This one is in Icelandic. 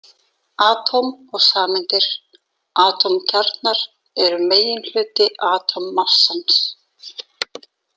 Atóm og sameindir Atómkjarnar eru meginhluti atómmassans.